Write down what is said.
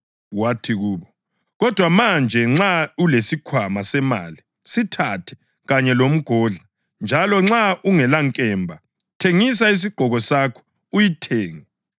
Wathi, kubo, “Kodwa manje nxa ulesikhwama semali, sithathe, kanye lomgodla; njalo nxa ungelankemba, thengisa isigqoko sakho uyithenge.